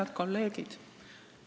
Head kolleegid!